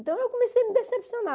Então, eu comecei a me decepcionar.